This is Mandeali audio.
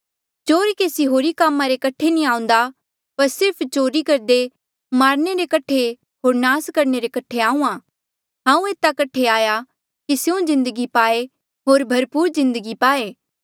चोर केसी होर कामा रे कठे नी आऊंदा पर सिर्फ चोरी करदे मारणे रे कठे होर नास करणे रे कठे आहूँआं हांऊँ एता कठे आया कि स्यों जिन्दगी पाए होर भरपूर जिन्दगी पाए